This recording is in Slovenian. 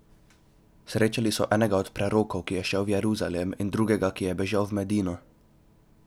Srečali so enega od prerokov, ki je šel v Jeruzalem, in drugega, ki je bežal v Medino.